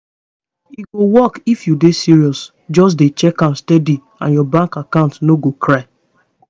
e go work if you dey serious just dey check am steady and your bank account no go cry.